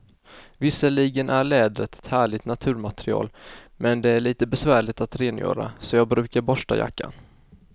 Visserligen är läder ett härligt naturmaterial, men det är lite besvärligt att rengöra, så jag brukar borsta jackan.